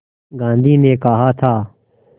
गांधी ने कहा था